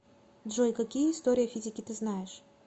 джой какие история физики ты знаешь